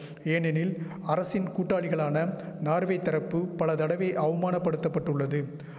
ஏனெனில் அரசின் கூட்டாளிகளான நார்வே தரப்பு பல தடவை அவமானபடுத்தபட்டுள்ளது